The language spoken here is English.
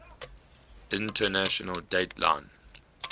international date line